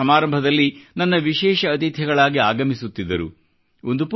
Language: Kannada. ಆ ಮಕ್ಕಳು ಸಮಾರಂಭದಲ್ಲಿ ನನ್ನ ವಿಶೇಷ ಅತಿಥಿಗಳಾಗಿ ಆಗಮಿಸುತ್ತಿದ್ದರು